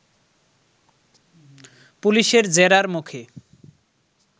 পুলিশের জেরার মুখে